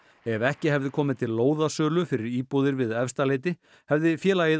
ef ekki hefði komið til lóðasölu fyrir íbúðir við Efstaleiti hefði félagið